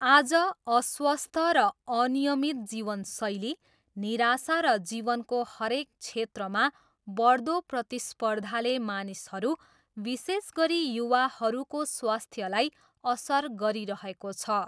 आज, अस्वस्थ र अनियमित जीवनशैली, निराशा र जीवनको हरेक क्षेत्रमा बढ्दो प्रतिस्पर्धाले मानिसहरू, विशेष गरी युवाहरूको स्वास्थ्यलाई असर गरिरहेको छ।